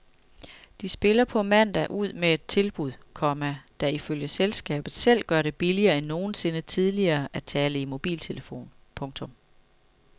De spiller på mandag ud med et tilbud, komma der ifølge selskabet selv gør det billigere end nogensinde tidligere at tale i mobiltelefon. punktum